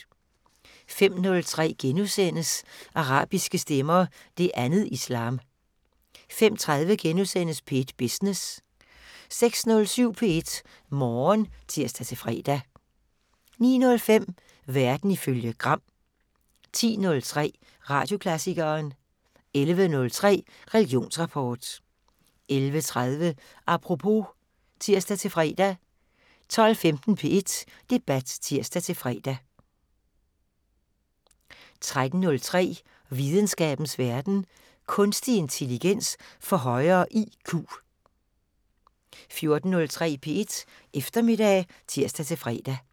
05:03: Arabiske stemmer: Det andet islam * 05:30: P1 Business * 06:07: P1 Morgen (tir-fre) 09:05: Verden ifølge Gram 10:03: Radioklassikeren 11:03: Religionsrapport 11:30: Apropos (tir-fre) 12:15: P1 Debat (tir-fre) 13:03: Videnskabens Verden: Kunstig intelligens får højere IQ 14:03: P1 Eftermiddag (tir-fre)